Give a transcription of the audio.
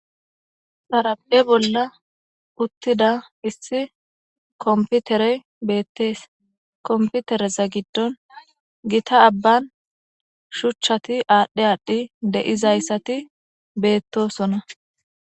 Xaradhe bolla uttida issi komputere beettees komputereza giddon gita abban shuchchati aadhdhe aadhi deizayssati beettosona